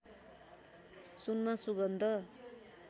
सुनमा सुगन्ध